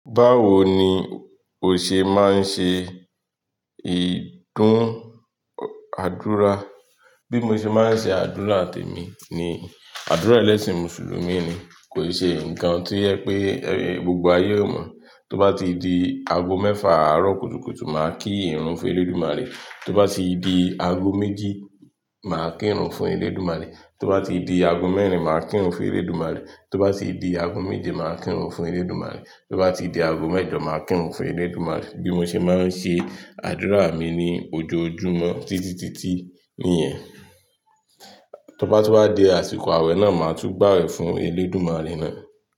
Báwo ni ò ṣe máa ń ṣe ìdúnàádúrà? Bí mo ṣe máa ń ṣe àdúrà tèmi ni àdúrà ẹlẹ́sìn mùsùlùmí ni, kò ṣe ǹkan tí o je pé gbogbo ayé ó mọ̀. Tó bá ti di ago mẹ́fà àárọ̀ kùtùkùtù, màá kí ìrun fún Elédùmarè. Tó bá ti di ago méjì, màá kí ìrun fún Elédùmarè. Tó bá ti di ago mẹ́rin, màá kí ìrun fún Elédùmarè. Tó bá ti di ago méje, màá kí ìrun fún Elédùmarè. Tó bá ti di ago mẹ́jọ, màá kí ìrun fún Elédùmarè. Bí mo ṣe máa ń ṣe àdúrà mi ni ojoojúmọ́ títí títí nìyẹn. Tó bá tú bá di àsìkò àwẹ̀ náà, màá tún gbà aawe fún Elédùmarè náà.